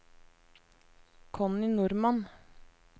Connie Normann